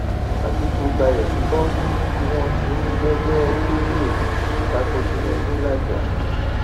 àtìkù balẹ sí kóòtù tí wọn ti ń gbẹjọ tó pẹ ta ko tinubu làájá